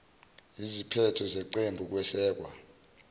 iziphetho ngeqembu kwesekwa